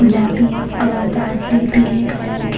गुलाबी और बादली पीले कलर के--